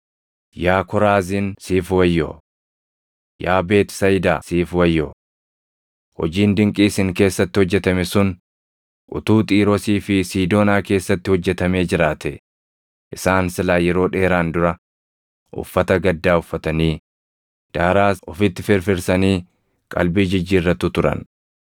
“Yaa Koraaziin siif wayyoo! Yaa Beetisayidaa siif wayyoo! Hojiin dinqii isin keessatti hojjetame sun utuu Xiiroosii fi Siidoonaa keessatti hojjetamee jiraatee, isaan silaa yeroo dheeraan dura uffata gaddaa uffatanii, daaraas ofitti firfirsanii qalbii jijjiirratu turan.